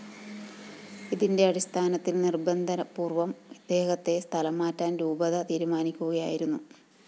ഇതിന്റെ അടിസ്ഥാനത്തില്‍ നിര്‍ബന്ധപൂര്‍വ്വം ഇദ്ദേഹത്തെ സ്ഥലംമാറ്റാന്‍ രൂപത തീരുമാനിക്കുകയായിരുന്നു